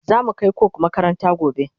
zamu Kai coke makaranta gobe